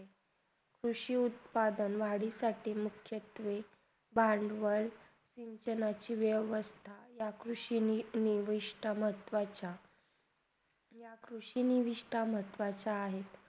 कृषी उत्पादन वाडीसाठी मुख्या क्षेत्रे भंडवल यह सगळ्यांची वेवस्था या कृषीनी निविष्टा महत्वाचा या कृषीनी निविष्टा महत्वाचा आहे.